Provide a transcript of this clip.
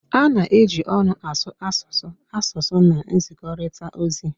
A na-eji ọnụ asụ asụsụ asụsụ na nzikọrịta ozi